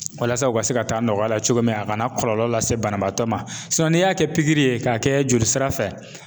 Walasa u ka se ka taa nɔgɔya la cogo min na a kana kɔlɔlɔ lase banabaatɔ ma n'i y'a kɛ pikiri ye k'a kɛ joli sira fɛ